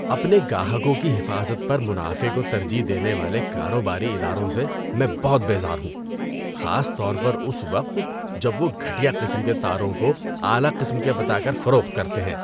اپنے گاہکوں کی حفاظت پر منافع کو ترجیح دینے والے کاروباری اداروں سے میں بہت بیزار ہوں، خاص طور پر اس وقت جب وہ گھٹیا قسم کے تاروں کو اعلی قسم کے بتا کر فروخت کرتے ہیں۔